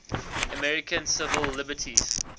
american civil liberties